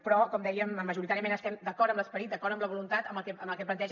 però com dèiem majoritàriament estem d’acord amb l’esperit d’acord amb la voluntat amb el que planteja